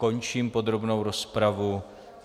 Končím podrobnou rozpravu.